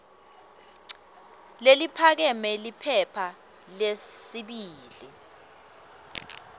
leliphakeme liphepha lesibili